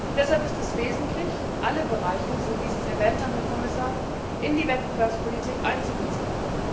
Deshalb ist es wesentlich, alle Bereiche wie Sie es erwähnt haben, Herr Kommissar in die Wettbewerbspolitik mit einzubeziehen.